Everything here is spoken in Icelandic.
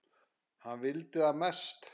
Hann vildi það mest.